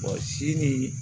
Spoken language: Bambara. si ni